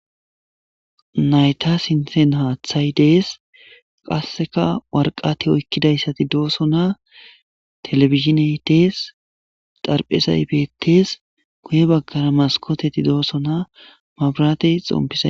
Nayta sinsena haathay dees qasseka warqati oykkidayssati dooso naa telefiziney dees xarphezay beettees guye baggara maskoteti dooso naa mabratey xompi...